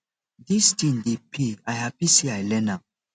dis thing dey pay i happy say i learn am